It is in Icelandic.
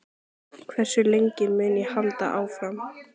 Hversu lengi mun ég halda áfram?